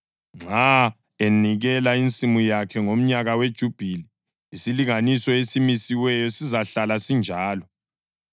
Nxa enikela insimu yakhe ngomnyaka weJubhili, isilinganiso esimisiweyo sizahlala sinjalo.